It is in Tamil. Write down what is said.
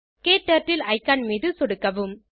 க்டர்ட்டில் இக்கான் மீது சொடுக்கவும்